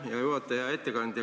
Hea ettekandja!